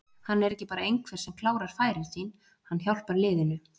Hann er ekki bara einhver sem klárar færin sín, hann hjálpar liðinu.